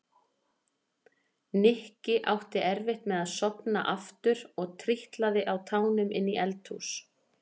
Nikki átti erfitt með að sofna aftur og trítlaði á tánum inn í eldhús.